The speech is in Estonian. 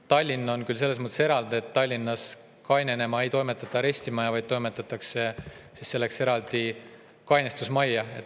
Tallinn on selles mõttes eraldi, et Tallinnas ei toimetata kainenema arestimajja, vaid toimetatakse eraldi kainestusmajja.